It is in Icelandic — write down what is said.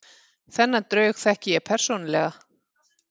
Þennan draug þekki ég persónulega.